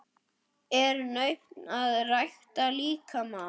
Er nautn að rækta líkamann?